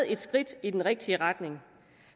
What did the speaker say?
et skridt i den rigtige retning